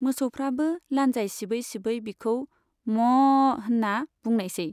मोसौफ्राबो लान्जाइ सिबै सिबै बिखौ 'म'अअअ' होनना बुंनायसै।